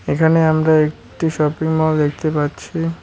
এখানে আমরা একটি শপিং মল দেখতে পাচ্ছি।